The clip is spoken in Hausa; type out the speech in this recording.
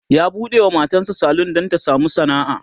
ya buɗewa matan sa salon Dan Ta samu sana'a